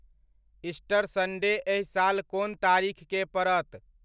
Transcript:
Easter Sunday एहि साल कोन तारीख के परत